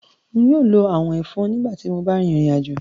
Nyóò ló àwọ̀n-ẹ̀fọn nígbà tí mó bá rìn ìrìnàjò